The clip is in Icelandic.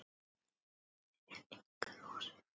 Rauð er á enginu rósin.